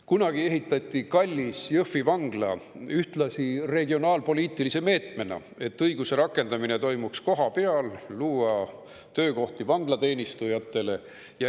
Kunagi ehitati kallis Jõhvi vangla ühtlasi regionaalpoliitilise meetmena, et õiguse rakendamine toimuks kohapeal, luua töökohti vanglateenistujatele.